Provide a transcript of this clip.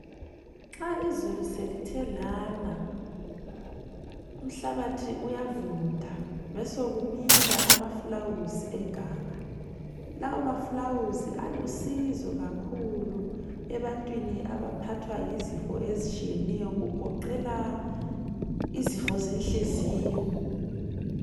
Nxa izulu selithe lana umhlabathi uyavunda kube sokumila amafulawuzi eganga. Lawa mafulawuzi alusizo kakhulu ebantwini abaphathwa yizifo ezitshiyeneyo, okugoqela izifo zenhliziyo.